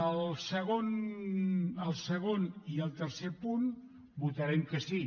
al segon i al tercer punt votarem que sí